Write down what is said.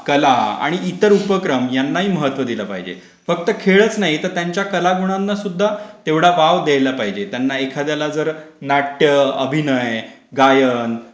कला, आणि इतर उपक्रम नाही महत्त्व दिलं पाहिजे. फक्त खेळच नाही तर त्यांच्या कला गुणांना सुद्धा तेवढा वाव द्यायला पाहिजे. त्यांना एखाद्याला जर नाट्य, अभिनय, गायन,